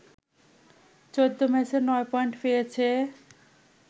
১৪ ম্যাচে ৯ পয়েন্ট পেয়েছে